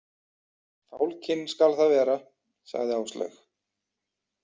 Fálkinn skal það vera, sagði Áslaug.